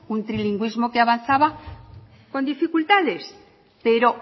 un trilingüismo que avanzaba con dificultades pero